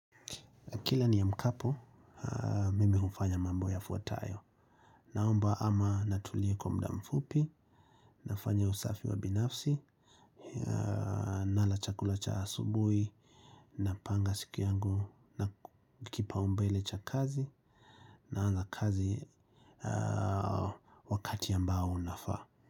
Kila niamkapo, mimi hufanya mambo yafuatayo. Naomba ama natulia kwa muda mfupi, nafanya usafi wa binafsi, nala chakula cha asubuhi, napanga siku yangu, na kipaumbele cha kazi, naanza kazi wakati ambao unafaa.